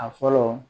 A fɔlɔ